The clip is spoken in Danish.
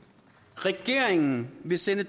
regeringen vil sende